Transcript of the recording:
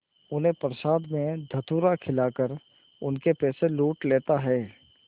उन्हें प्रसाद में धतूरा खिलाकर उनके पैसे लूट लेता है